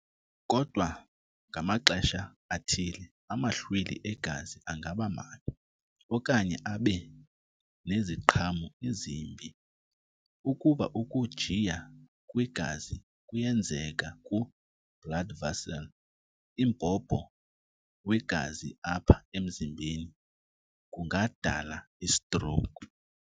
Kodwa ngamaxesha athile amahlwili egazi angaba mabi okanye abe neziqhamo ezimbi. Ukuba ukujiya kwegazi kuyenzeka ku[blood vessel| imbhobho wegazi apha emzimbeni, kungadala istroke.